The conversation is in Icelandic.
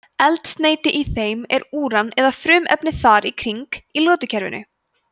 eldsneyti í þeim er úran eða frumefni þar í kring í lotukerfinu